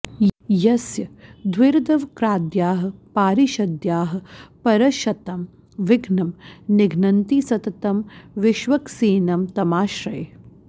यस्य द्विरदवक्राद्याः पारिषद्याः परश्शतं विघ्नं निघ्नन्ति सततं विष्वक्सेनं तमाश्रये